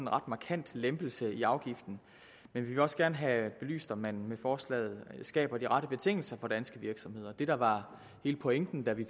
ret markant lempelse i afgiften men vi vil også gerne have belyst om man med forslaget skaber de rette betingelser for danske virksomheder det der var hele pointen da vi